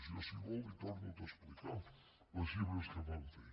jo si vol li torno a explicar les xifres que vam fer